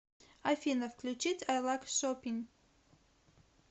афина включить ай лайк шопин